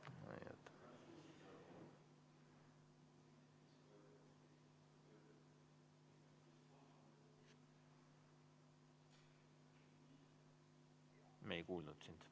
V a h e a e g